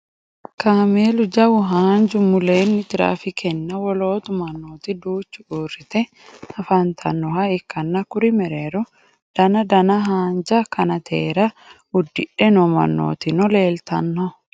Kameelu jawu haanju mulle tirafikenna wolootu manooti duuchu uurite afanitannoha ikanna kuri mereero dana dana haanja kanateera udidhe noo manootinno leelitanno.